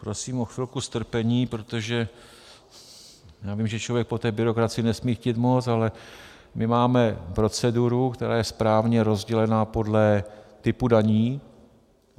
Prosím o chvilku strpení, protože já vím, že člověk po té byrokracii nesmí chtít moc, ale my máme proceduru, která je správně rozdělena podle typu daní.